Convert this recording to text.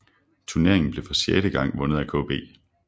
Turneringen blev for sjette gang vundet af KB